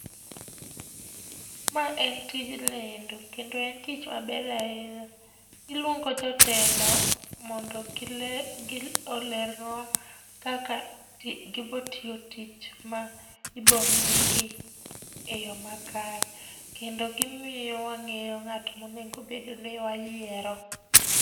Ma en tij lendo kendo en tich maber ahinya. Iluongo jotelo mondo olernwa kaka gibiro tiyo tich ma ibomigi e yo makare. Kendo gimiyo wang'eyo ng'at monegobedni wayiero.